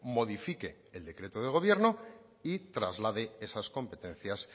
modifique el decreto del gobierno y traslade esas competencias